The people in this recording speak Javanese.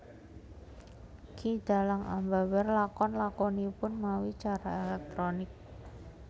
Ki dhalang ambabar lakon lakonipun mawi cara elektronik